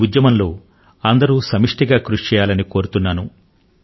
ఈ ఉద్యమం లో అంతా ఉమ్మడి గా కృషిచేయాలని కోరుతున్నాను